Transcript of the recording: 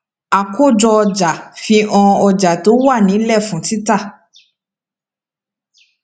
àkójọọjà fi hàn ọjà tó wà nílẹ fún títà